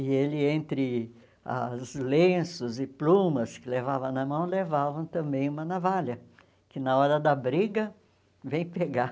E ele, entre as lenços e plumas que levava na mão, levava também uma navalha, que na hora da briga, vem pegar.